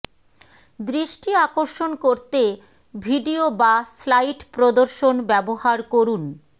দৃষ্টি আকর্ষণ করতে ভিডিও বা স্লাইড প্রদর্শন ব্যবহার করুন